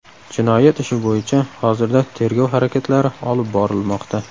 Jinoyat ishi bo‘yicha hozirda tergov harakatlari olib borilmoqda.